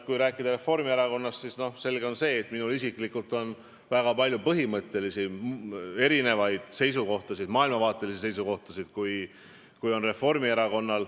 Kui rääkida Reformierakonnast, siis on selge, et minul isiklikult on nendega võrreldes väga palju põhimõttelisi erinevaid seisukohtasid, ka maailmavaatelisi.